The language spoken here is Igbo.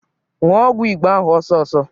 Ṅụọ ọgwụ Igbo ahụ ọsọọsọ!